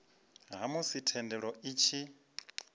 ha musi thendelo i tshi